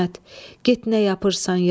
İsmət, get nə yapırsan, yap.